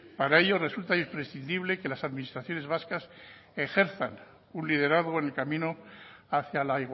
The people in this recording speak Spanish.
para ello resulta imprescindible que las administraciones vascas ejerzan un liderazgo en el camino hacia la